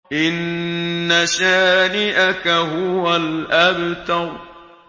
إِنَّ شَانِئَكَ هُوَ الْأَبْتَرُ